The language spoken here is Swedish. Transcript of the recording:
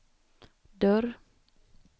dörr